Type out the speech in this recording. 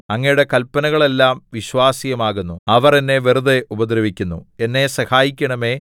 അങ്ങയുടെ കല്പനകളെല്ലം വിശ്വാസ്യമാകുന്നു അവർ എന്നെ വെറുതെ ഉപദ്രവിക്കുന്നു എന്നെ സഹായിക്കണമേ